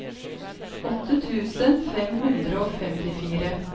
åtte tusen fem hundre og femtifire